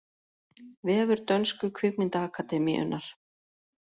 Vefur dönsku kvikmyndaakademíunnar